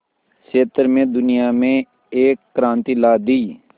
क्षेत्र में दुनिया में एक क्रांति ला दी